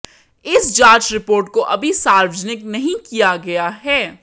इस जांच रिपोर्ट को अभी सार्वजनिक नहीं किया गया है